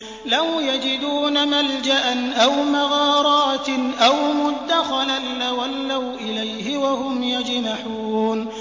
لَوْ يَجِدُونَ مَلْجَأً أَوْ مَغَارَاتٍ أَوْ مُدَّخَلًا لَّوَلَّوْا إِلَيْهِ وَهُمْ يَجْمَحُونَ